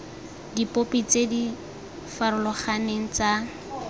dipopi tse di farologaneng tsa